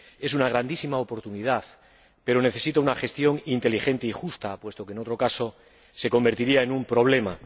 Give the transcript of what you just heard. Es una grandísima oportunidad, pero necesita una gestión inteligente y justa, puesto que, en otro caso, se convertiría en un problema